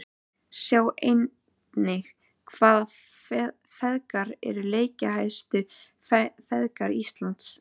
Sjá einnig: Hvaða feðgar eru leikjahæstu feðgar á Íslandi?